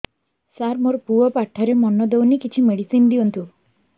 ସାର ମୋର ପୁଅ ପାଠରେ ମନ ଦଉନି କିଛି ମେଡିସିନ ଦିଅନ୍ତୁ